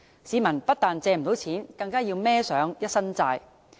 市民不但借不到錢，更要負上一身債。